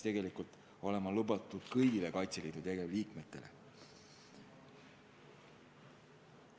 Kõnealune luba peaks olema tagatud kõigile Kaitseliidu tegevliikmetele.